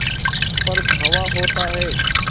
पर धावा होता है